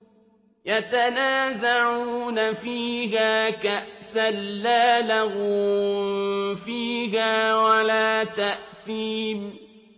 يَتَنَازَعُونَ فِيهَا كَأْسًا لَّا لَغْوٌ فِيهَا وَلَا تَأْثِيمٌ